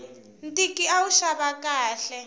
ntiki a wu xava khale